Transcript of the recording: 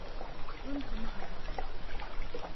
Runtu maaha